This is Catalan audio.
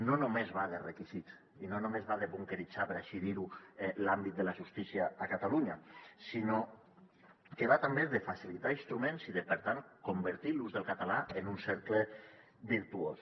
no només va de requisits i no només va de bunqueritzar per així dir ho l’àmbit de la justícia a catalunya sinó que va també de facilitar instruments i de per tant convertir l’ús del català en un cercle virtuós